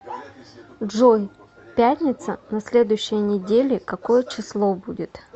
джой пятница на следующей неделе какое число будет